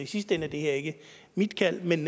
sidste ende er det her ikke mit kald men